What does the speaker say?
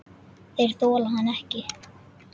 Þeir þola hann ekki.